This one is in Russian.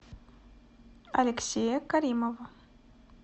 алексея каримова